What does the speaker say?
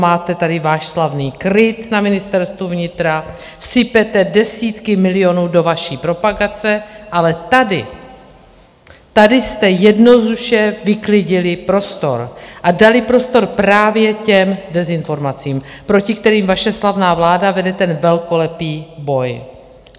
Máte tady váš slavný KRIT na Ministerstvu vnitra, sypete desítky milionů do vaší propagace, ale tady, tady jste jednoduše vyklidili prostor a dali prostor právě těm dezinformacím, proti kterým vaše slavná vláda vede ten velkolepý boj.